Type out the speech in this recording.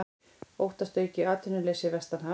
Óttast aukið atvinnuleysi vestanhafs